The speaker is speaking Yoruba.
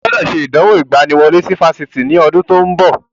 Ó gbọ́dọ̀ ṣe ìdánwò ìgbaniwọlé sí Fásitì ní ọdún tí ó ń bọ̀.